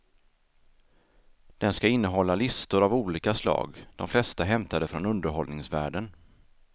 Den skall innehålla listor av olika slag, de flesta hämtade från underhållningsvärlden.